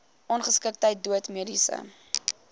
ongeskiktheid dood mediese